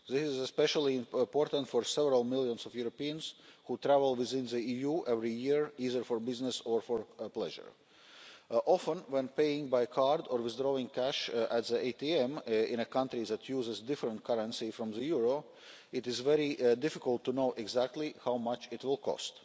This is especially important for several million Europeans who travel within the EU every year, either for business or for pleasure. Often, when paying by card or withdrawing cash at an ATM in a country that uses a different currency from the euro, it is very difficult to know exactly how much it will cost.